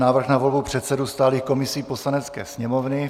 Návrh na volbu předsedů stálých komisí Poslanecké sněmovny